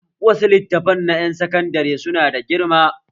Wasu littafan na ƴan sakandare su na da girma